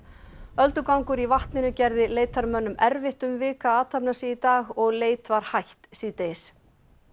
öldugangur í vatninu gerði erfitt um vik að athafna sig í dag og leit var hætt síðdegis